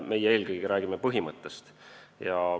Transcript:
Meie räägime eelkõige põhimõttest.